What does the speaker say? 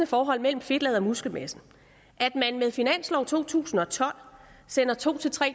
forhold mellem fedtlaget og muskelmassen at man med finanslov for to tusind og tolv sender to